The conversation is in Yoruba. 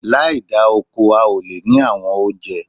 Láì da oko, a ó lè ní àwọn oúnjẹ